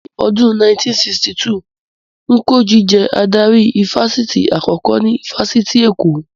Ní ọdún 1962, Njoku jẹ́ adarí ifásitì àkọ́kọ́ ní ifásitì Èkó